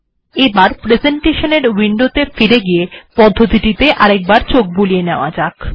এবার প্রেসেন্টেশন এ ফিরে গিয়ে প্রক্রিয়াটিতে আরেকবার চোখ বুলিয়ে নেয়া যাক